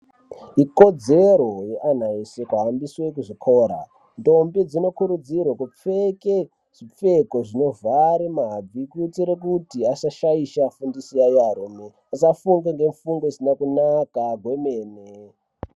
Ikodzero yeana eshe kuhambiswe kuzvikora . Ndombi dzinokurudzirwa kupfeke zvipfeko zvinovhare mabvi kuitire kuti asashaisha afundisi earume asafunge nemufungo isina kunaka gwemene.